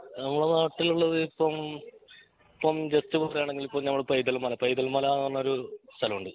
നമ്മളെ നാട്ടിൽ ഉള്ളത് ഇപ്പോം ഇപ്പോം ജസ്റ്റ് പറയാണെങ്കിൽ ഇപ്പോം ഞമ്മളെ പൈതൽ മല പൈതൽ മല എന്ന് പറഞ്ഞ ഒരു സ്ഥലമുണ്ട്